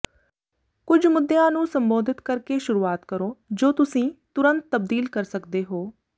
ਕੁਝ ਮੁੱਦਿਆਂ ਨੂੰ ਸੰਬੋਧਿਤ ਕਰਕੇ ਸ਼ੁਰੂਆਤ ਕਰੋ ਜੋ ਤੁਸੀਂ ਤੁਰੰਤ ਤਬਦੀਲ ਕਰ ਸਕਦੇ ਹੋ